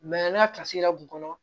n ka kun kɔnɔ